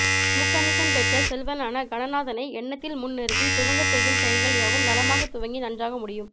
முக்கன்ணீசன் பெற்ற செல்வனான கணநாதனை எண்ணத்தில் முன் நிறுத்தி துவங்கிச் செய்யும்செயல்கள் யாவும் நலமாகத் துவங்கி நன்றாக முடியும்